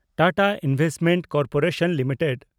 Tata investment corporation limited